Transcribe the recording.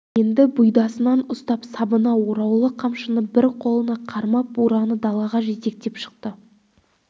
енді бұйдасынан ұстап сабына ораулы қамшыны бір қолына қармап бураны далаға жетектеп шықты